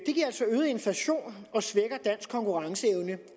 inflation og svækker dansk konkurrenceevne